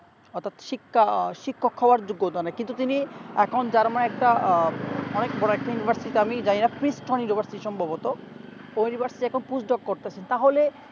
auto শিক্ষা শিক্ষক হওয়ার যোগ্যতা নাই কিন্তু তিনি এখন german একটা আহ অনেক বোরো একটা university তে আমি জানিনা shift হয়ে যাবো সম্বভত এখুন push-dog করতেছে তাহলে